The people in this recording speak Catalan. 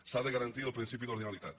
s’ha de garantir el principi d’ordinalitat